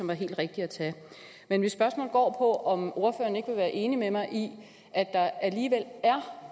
var helt rigtigt at tage men mit spørgsmål går på om ordføreren ikke vil være enig med mig i at der alligevel er